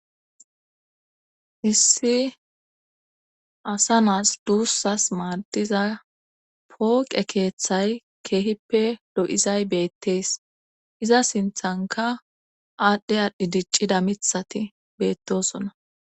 Issi asa naas duussas maadiza pooqe keeththay keehippe do7izay beettees iza sinthanka aadhdhe aadhdhi diccida mithati beettosona.